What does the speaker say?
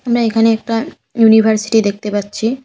আমরা এখানে একটা ইউনিভার্সিটি দেখতে পাচ্ছি।